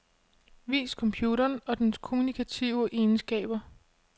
Vis computeren og dens kommunikative egenskaber.